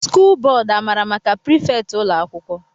skụl bódú amara maka prifétị ụlọ akwụkwọ?